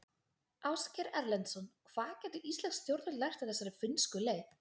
Ásgeir Erlendsson: Hvað gætu íslensk stjórnvöld lært af þessari finnsku leið?